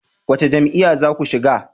Wace jam'iyya za ku shiga?